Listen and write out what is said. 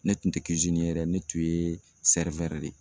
Ne tun tɛ ye dɛ, ne tun ye de ye.